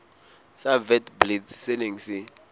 sa witblits se neng se